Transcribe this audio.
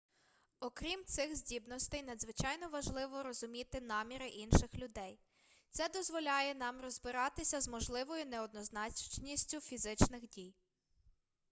окрім цих здібностей надзвичайно важливо розуміти наміри інших людей це дозволяє нам розбиратися з можливою неоднозначністю фізичних дій